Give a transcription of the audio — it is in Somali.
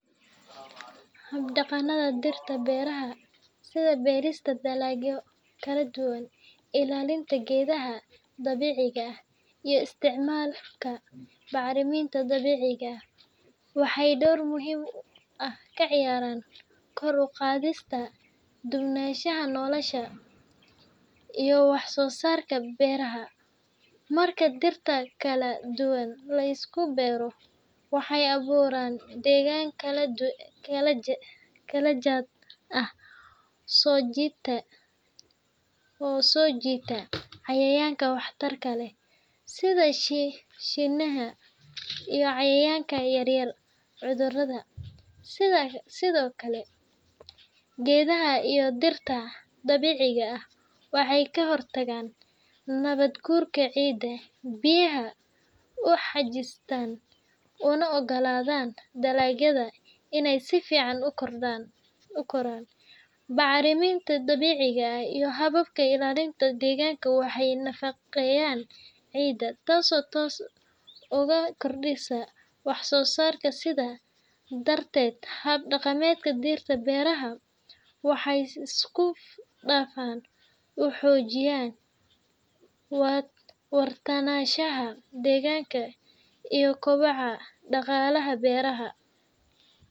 Hab-dhaqannada dhirta beeraha, sida beerista dalagyo kala duwan, ilaalinta geedaha dabiiciga ah, iyo isticmaalka bacriminta dabiiciga ah, waxay door muhiim ah ka ciyaaraan kor u qaadista duwanaanshaha noolaha iyo wax-soo-saarka beeraha. Marka dhirta kala duwan la isku beero, waxay abuuraan deegaan kala jaad ah oo soo jiita cayayaanka waxtarka leh, sida shinniha iyo cayayaanka yareeya cudurrada. Sidoo kale, geedaha iyo dhirta dabiiciga ah waxay ka hortagaan nabaad-guurka ciidda, biyaha u xajistaan, una oggolaadaan dalagyada inay si fiican u koraan. Bacriminta dabiiciga ah iyo hababka ilaalinta deegaanka waxay nafaqeeyaan ciidda, taasoo toos ugu kordhisa wax-soo-saarka. Sidaas darteed, hab-dhaqannada dhirta beeraha waxay si isku dhafan u xoojiyaan waartaanshaha deegaanka iyo kobaca dhaqaalaha beeraleyda.